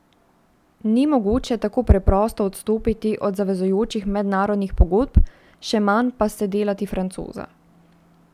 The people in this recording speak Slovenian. Ni mogoče tako preprosto odstopiti od zavezujočih mednarodnih pogodb, še manj pa se delati francoza.